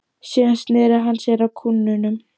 Síðan sneri hann sér að kúnnunum.